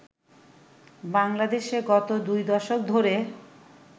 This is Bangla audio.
বাংলাদেশে গত দুই দশক ধরে